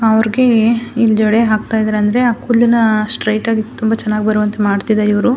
ಅವ್ರ್ ಗೆ ಹಿಂಗ್ ಜಡೆ ಹಾಕ್ತಾ ಇದ್ದಾರೆ ಅಂದ್ರೆ ಅ ಕೂದಲ್ನ ಸ್ಟ್ರೈಟ್ ಆಗಿ ತುಂಬ ಚೆನ್ನಾಗಿ ಬರುವಂತೆ ಮಾಡ್ತಿದ್ದಾರೆ ಇವ್ರು.